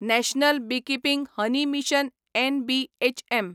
national beekeeping honey mission NBHM